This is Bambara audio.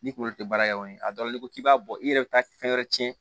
N'i kunkolo tɛ baara kɛ a dɔrɔn n'i ko k'i b'a bɔ i yɛrɛ bɛ taa fɛn wɛrɛ tiɲɛ